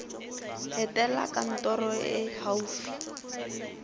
etela kantoro e e gaufi